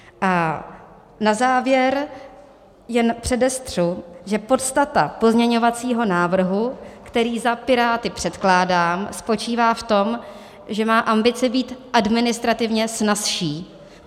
A na závěr jen předestřu, že podstata pozměňovacího návrhu, který za Piráty předkládám, spočívá v tom, že má ambici být administrativně snazší.